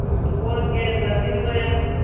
u engedzwa nd ivho ya